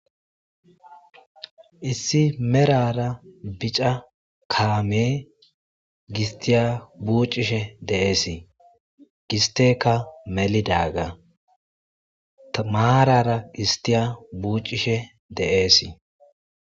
Issi merara bic,a kame giste buc,ishe des gisteka melidaga marara gisttiya buc,ishe des